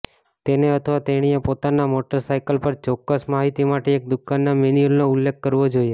તેને અથવા તેણીએ પોતાના મોટરસાઇકલ પર ચોક્કસ માહિતી માટે એક દુકાનના મેન્યુઅલનો ઉલ્લેખ કરવો જોઈએ